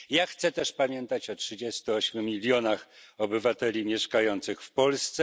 Ja chcę też pamiętać o 38 milionach obywateli mieszkających w Polsce.